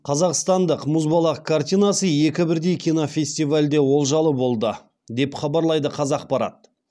қазақстандық мұзбалақ картинасы екі бірдей кинофестивальде олжалы болды деп хабарлайды қазақпарат